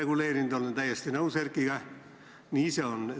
Olen Erkiga täiesti nõus, nii see on.